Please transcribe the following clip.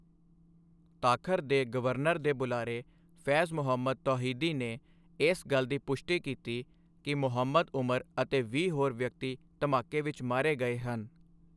ਤਾਖਰ ਦੇ ਗਵਰਨਰ ਦੇ ਬੁਲਾਰੇ ਫੈਜ਼ ਮੁਹੰਮਦ ਤੌਹੀਦੀ ਨੇ ਇਸ ਗੱਲ ਦੀ ਪੁਸ਼ਟੀ ਕੀਤੀ ਕਿ ਮੁਹੰਮਦ ਉਮਰ ਅਤੇ ਵੀਹ ਹੋਰ ਵਿਅਕਤੀ ਧਮਾਕੇ ਵਿੱਚ ਮਾਰੇ ਗਏ ਹਨ।